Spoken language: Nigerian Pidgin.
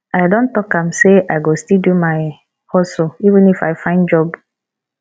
i don talk am sey i go still do my hustle even if i find job